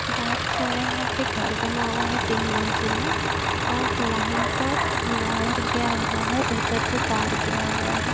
बहुत सारा यहा पे घर बना हुआ है तीन मंजिला और लाइन का वायर गया हुआ है ऊपर से तार गया हुआ है।